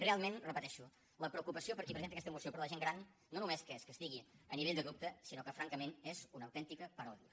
realment ho repeteixo la preocupació per qui presenta aquesta moció per la gent gran no només és que estigui a nivell de dubte sinó que francament és una autèntica paròdia